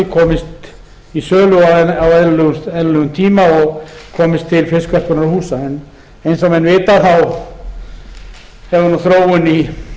komist í sölu á eðlilegum tíma og komist til fiskverkunarhúsa en eins og menn vita hefur þróun í